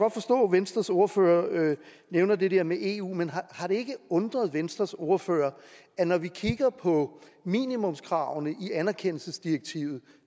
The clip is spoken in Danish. venstres ordfører nævner det der med eu men har det ikke undret venstres ordfører at når vi kigger på minimumskravene i anerkendelsesdirektivet